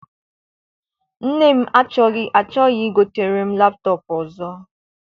Nne m achọghị I gotere m laptọp ọzọ.